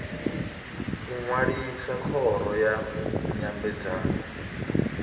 u ṅwalisa khoro ya nyambedzano